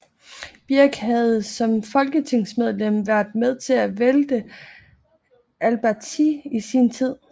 Birck havde som folketingsmedlem været med til at vælte Alberti i sin tid